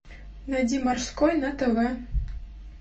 найди морской на тв